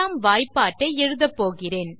இரண்டாம் வாய்ப்பட்டை எழுதப்போகிறேன்